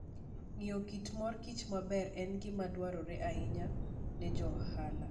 Ng'eyo kit mor kich maber en gima dwarore ahinya ne jo ohala.